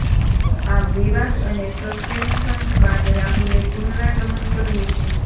આમ વિવાદ અને સસ્પેન્શન બાદ રાહુલે પુનરાગમન કર્યું છે